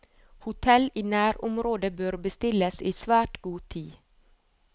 Hotell i nærområdet bør bestilles i svært god tid.